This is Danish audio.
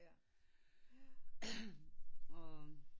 Jaer ja